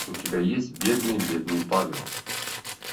у тебя есть бедный бедный павел